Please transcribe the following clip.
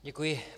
Děkuji.